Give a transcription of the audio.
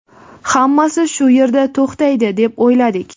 Hammasi shu yerda to‘xtaydi deb o‘yladik.